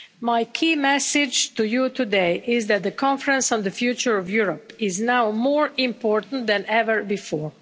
My key message to you today is that the Conference on the Future of Europe is now more important than ever before.